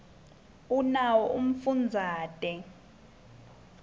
unawo umfundazate